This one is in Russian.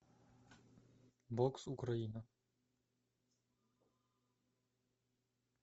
бокс украина